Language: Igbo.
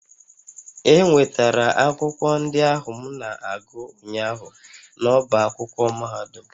E nwetara akwụkwọ ndị ahụ m na-agụ ụnyaahụ n'ọ́bá akwụkwọ mahadum